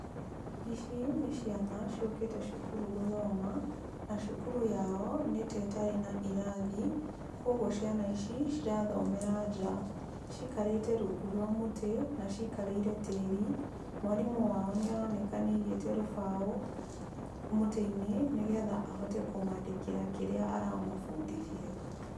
Ici nĩ ciana ciũkĩte cukuru gũthoma na cukuru yao nĩta ĩtarĩ na irathi kũoguo ciana ici cirathomera nja, cikarĩte rungũ rwa mũtĩ na cikarĩire tĩri, mwarimũ wao nĩ aroneka nĩ aigĩte rũbaũ mũtĩ-inĩ nĩ getha ahote kũmandĩkĩra kĩrĩa aramabundithia.